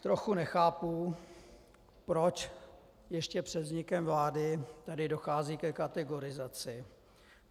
Trochu nechápu proč ještě před vznikem vlády tady dochází ke kategorizaci.